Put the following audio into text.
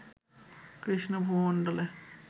Krishna ভূমণ্ডলে